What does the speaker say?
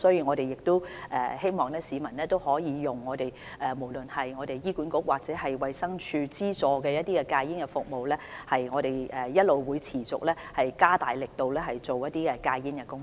我們希望有需要的市民使用醫院管理局或衞生署資助的戒煙服務，同時，我們亦會持續加大力度進行控煙工作。